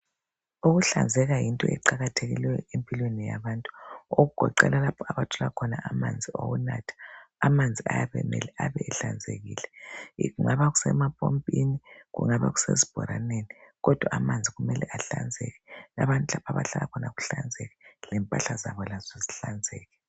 Ukuhlanzeka yinto eqakathekileyo empilweni yabantu, okugoqela lapha abathola khona amanzi okunatha. Amanzi ayabe emele ebe ehlanzekile. Kungaba sempompini kungaba sesibhoraneni kodwa amanzi kumele ahlanzeke, abantu lapha abahlala khona kuhlanzeke lempahla zabo lazo zihlanzeke.